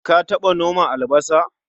Ka taɓa noma albasa?